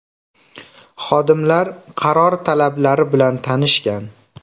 Xodimlar qaror talablari bilan tanishgan.